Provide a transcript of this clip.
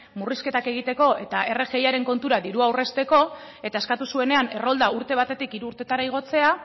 murrizketak egiteko eta rgiaren kontura dirua aurrezteko eta eskatu zuenean errolda urte batetik hiru urtera igotzea